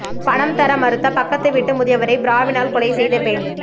பணம் தர மறுத்த பக்கத்து வீட்டு முதியவரை பிராவினால் கொலை செய்த பெண்